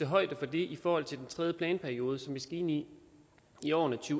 højde for det i forhold til den tredje planperiode som vi skal ind i i årene to